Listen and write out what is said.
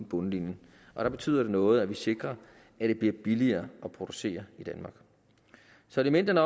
bundlinjen og der betyder det noget at vi sikrer at det bliver billigere at producere i danmark så elementerne